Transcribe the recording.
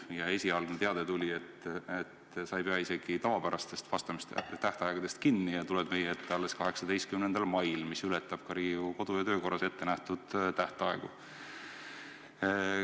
Kui esialgne teade tuli, siis selgus, et sa ei pea isegi tavapärastest vastamiste tähtaegadest kinni ja tuled meie ette alles 18. mail, mis ületab Riigikogu kodu- ja töökorra seaduses ettenähtud tähtaega.